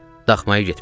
Daxmaya getməliyik.